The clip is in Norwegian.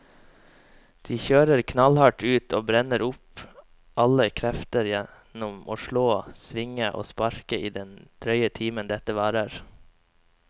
De kjører knallhardt ut og brenner opp alle krefter gjennom å slå, svinge og sparke i den drøye timen dette varer.